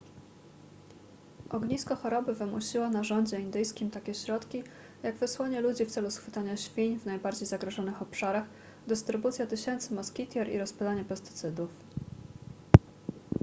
ognisko choroby wymusiło na rządzie indyjskim takie środki jak wysłanie ludzi w celu schwytania świń w najbardziej zagrożonych obszarach dystrybucja tysięcy moskitier i rozpylanie pestycydów